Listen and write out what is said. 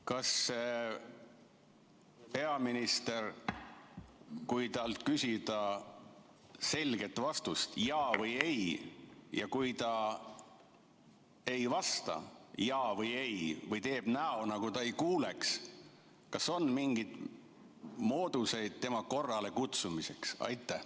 Kas siis, kui peaministrilt küsida selget vastust jaa või ei, ja kui ta nii ei vasta või teeb näo, nagu ta ei kuuleks, siis kas on mingeid mooduseid teda korrale kutsuda?